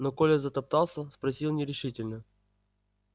но коля затоптался спросил нерешительно